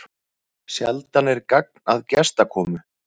Sjaldan er gagn að gestakomu.